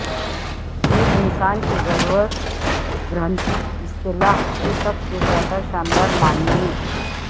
یہ انسان کی ضرورت گرہنتی اصطلاح کی سب سے زیادہ شاندار معنی میں